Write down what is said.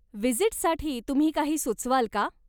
व्हिजीटसाठी तुम्ही काही सुचवाल का?